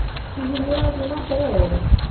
Hihi nĩ ũrathiĩ na mbere wega?